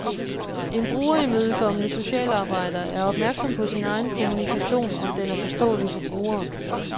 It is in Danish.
En brugerimødekommende socialarbejder er opmærksom på sin egen kommunikation, om den er forståelig for brugeren.